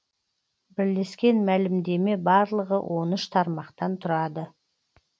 бірлескен мәлімдеме барлығы он үш тармақтан тұрады